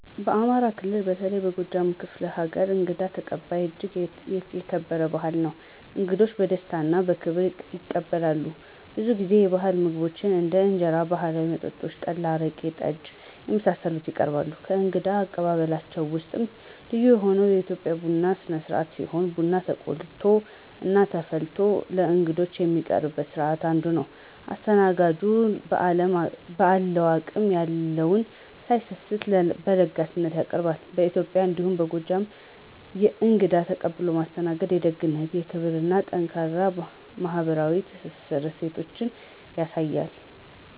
በአማራ ክልል በተለይም በጎጃም ክፍለ ሀገር እንግዳ ተቀባይነት እጅግ የተከበረ ባህል ነው። እንግዶች በደስታ እና በክብር ይቀበላሉ፣ ብዙ ጊዜ የባህል ምግቦችን እንደ እንጀራ እና ባህላዊ መጠጦች (ጠላ፣ አረቄ፣ ጠጅ) የመሳሰሉትን ይቀርባሉ። ከእንግዳ አቀባበላቸው ውስጥም ልዩ የሆነው የኢትዮጵያ ቡና ስነስርአት ሲሆን ቡና ተቆልቶ እና ተፈልቶ ለእንግዶች የሚቀርብበት ስርአት አንዱ ነው። አስተናጋጁን በአለው አቅም የለውን ሳይሰስት በለጋስነት ያቀርባሉ። በኢትዬጵያ እንዲሁም በጎጃም እንግዳን ተቀብሎ ማስተናገድ የደግነትን፣ የክብርን እና ጠንካራ ማህበራዊ ትስስር እሴቶችን ያሳያል።